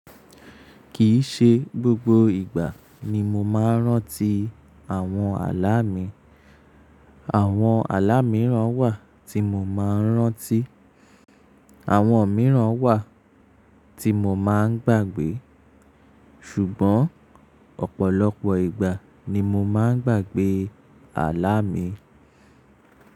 Kìí ṣe gbogbo ìgbà ni mo máa ń rántí àwọn àlá mi. Àwọn àlá mìíràn wà tí mo máa ń rántí, àwọn mìíràn wà tí mo máa ń gbàgbé. Ṣùgbọ́n ọ̀pọ̀lọpọ̀ ìgbà ni mo máa ń gbàgbé àlá mi.